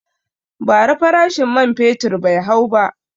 Ba ra farashin man fetur bai hau ba